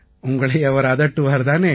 உங்களை அவர் அதட்டுவார் தானே